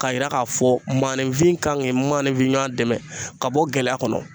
K'a yira k'a fɔ maaninfin kan ka maaninfin ɲɔɔn dɛmɛ ka bɔ gɛlɛya kɔnɔ